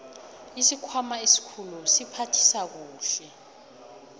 isikhwama esikhulu siphathisa kuhle